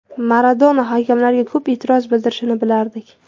Maradona hakamlarga ko‘p e’tiroz bildirishini bilardik.